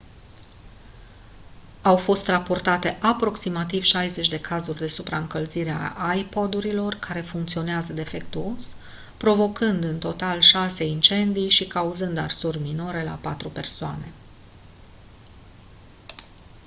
au fost raportate aproximativ 60 de cazuri de supraîncălzire a ipod-urilor care funcționează defectuos provocând în total șase incendii și cauzând arsuri minore la patru persoane